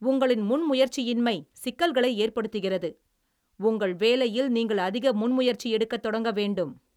உங்களின் முன்முயற்சியின்மை சிக்கல்களை ஏற்படுத்துகிறது, உங்கள் வேலையில் நீங்கள் அதிக முன்முயற்சி எடுக்கத் தொடங்க வேண்டும்.